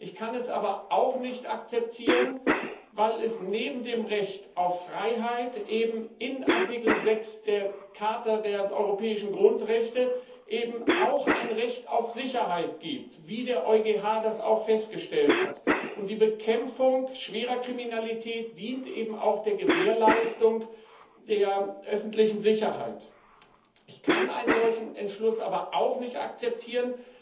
Ich kann es aber auch nicht akzeptieren, weil es neben dem Recht auf Freiheit eben in Artikel 6 der Charta der Europäischen Grundrechte auch ein Recht auf Sicherheit gibt, wie der EuGH das auch festgestellt hat. Die Bekämpfung schwerer Kriminalität dient eben auch der Gewährleistung der öffentlichen Sicherheit. Ich kann einen solchen Beschluss aber auch nicht akzeptieren,